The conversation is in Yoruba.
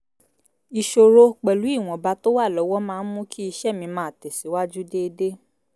ìṣòro pẹ̀lú ìwọ̀nba tó wà lọ́wọ́ máa n mú kí iṣẹ́ mi máa tẹ̀ síwájú déédéé